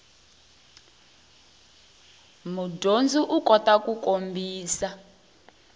mudyondzi u kota ku kombisa